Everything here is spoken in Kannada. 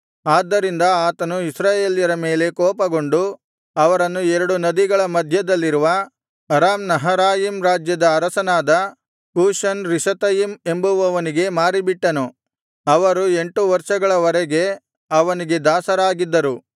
ಆದ್ದರಿಂದ ಆತನು ಇಸ್ರಾಯೇಲ್ಯರ ಮೇಲೆ ಕೋಪಗೊಂಡು ಅವರನ್ನು ಎರಡು ನದಿಗಳ ಮಧ್ಯದಲ್ಲಿರುವ ಅರಾಮ್ ನಹರಾಯಿಮ್ ರಾಜ್ಯದ ಅರಸನಾದ ಕೂಷನ್ ರಿಷಾತಯಿಮ್ ಎಂಬುವವನಿಗೆ ಮಾರಿಬಿಟ್ಟನು ಅವರು ಎಂಟು ವರ್ಷಗಳ ವರೆಗೆ ಅವನಿಗೆ ದಾಸರಾಗಿದ್ದರು